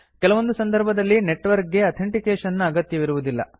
ಕೆಲವೊಂದು ಸಂದರ್ಭದಲ್ಲಿ ನೆಟ್ವರ್ಕ್ ಗೆ ಅಥೆಂಟಿಕೇಶನ್ ನ ಅಗತ್ಯವಿರುವುದಿಲ್ಲ